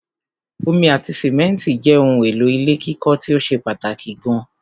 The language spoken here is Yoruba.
Omi ati simẹ́ntì jẹ́ ohun èlò ilé kíkọ́ tíó ṣe pàtàkì gan